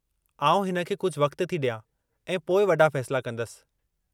आउं हिन खे कुझु वक़्तु थी ॾियां ऐं पोइ वॾा फ़ैसिला कंदसि।